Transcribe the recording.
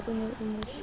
o ne o mo sotla